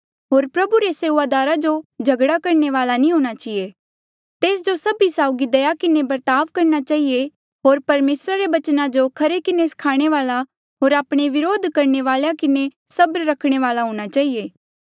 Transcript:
होर प्रभु रे सेऊआदारा जो झगड़ा करणे वाल्आ नी हूंणां चहिए तेस जो सभी साउगी दया किन्हें बर्ताव करणा चहिए होर परमेसरा रे बचना जो खरे किन्हें स्खाणे वाल्आ होर आपणे व्रोध करणे वालेया किन्हें सबर रखणे वाल्आ हूंणा चहिए